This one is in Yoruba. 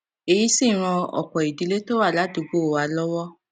èyí sì ran òpò ìdílé tó wà ládùúgbò wa lówó